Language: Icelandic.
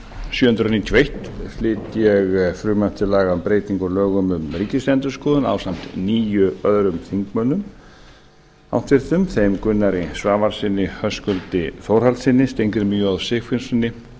sjö hundruð níutíu og eitt flyt ég frumvarp til laga um breytingu á lögum um ríkisendurskoðun ásamt níu öðrum þingmönnum háttvirtur þeim gunnari svavarssyni höskuldi þórhallssyni steingrími j sigfússyni